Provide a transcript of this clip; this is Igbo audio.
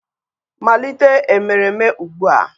malite emereme ugbua!!